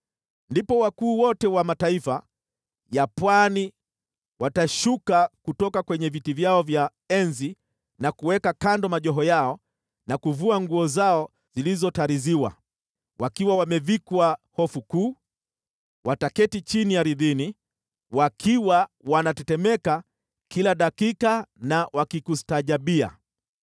Ndipo wakuu wote wa mataifa ya pwani watashuka kutoka kwenye viti vyao vya enzi na kuweka kando majoho yao na kuvua nguo zao zilizotariziwa. Wakiwa wamevikwa hofu kuu, wataketi chini ardhini, wakiwa wanatetemeka kila dakika na wakikustajabia.